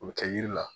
O bɛ kɛ yiri la